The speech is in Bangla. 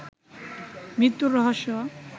মৃত্যুর রহস্য